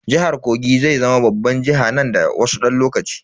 Jihar Kogi zai zama babban jiha nan da wasu dan lokaci.